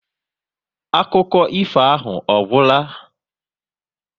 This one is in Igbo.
Akụkọ ifo ahụ ọ gwụla?